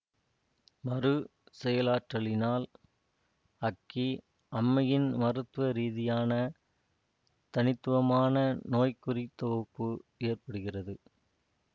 மறு செயலாற்றலினால் அக்கி அம்மையின் மருத்துவ ரீதியான தனித்துவமான நோய்க்குறித்தொகுப்பு ஏற்படுகிறது